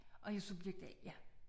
Og jeg subjekt A ja